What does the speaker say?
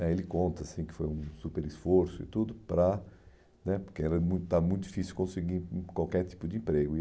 né ele conta assim que foi um super esforço e tudo para né, porque era muito estava muito difícil conseguir hum qualquer tipo de emprego.